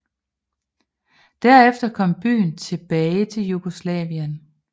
Derefter kom byen tilbage til Jugoslavien